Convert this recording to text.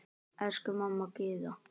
Elsku amma Gyða.